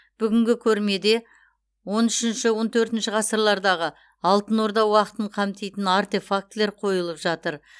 бүгінгі көрмеде он үшінші он төртінші ғасырлардағы алтын орда уақытын қамтитын артефактілер қойылып жатыр